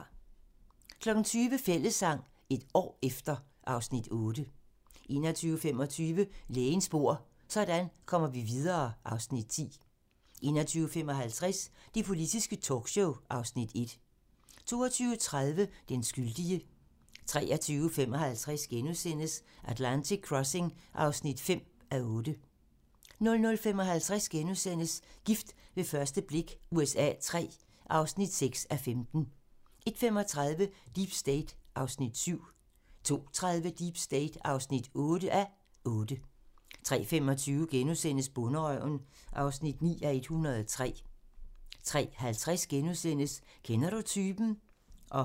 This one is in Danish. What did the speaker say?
20:00: Fællessang - et år efter (Afs. 8) 21:25: Lægens bord: Sådan kommer vi videre (Afs. 10) 21:55: Det politiske talkshow (Afs. 1) 22:30: Den skyldige 23:55: Atlantic Crossing (5:8)* 00:55: Gift ved første blik USA III (6:15)* 01:35: Deep State (7:8) 02:30: Deep State (8:8) 03:25: Bonderøven (9:103)* 03:50: Kender du typen? *